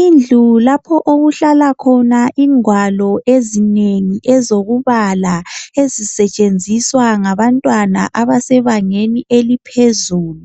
Indlu lapho okuhlala khona ingwalo ezinengi zokubala ezisetshenziswa ngabantwana abasebangeni eliphezulu